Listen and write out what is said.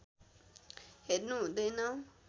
हेर्नु हुँदैन